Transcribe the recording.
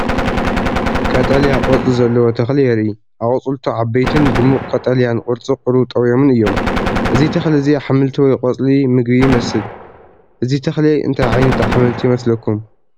ቀጠልያ ቆጽሊ ዘለዎ ተኽሊ የርኢ። ኣቝጽልቱ ዓበይትን ድሙቕ ቀጠልያን ቅርጹ ቁሩብ ጠውዮምን እዮም። እዚ ተኽሊ እዚ ኣሕምልቲ ወይ ቆጽሊ መግቢ ይመስል። እዚ ተኽሊ እንታይ ዓይነት ኣሕምልቲ ይመስለኩም?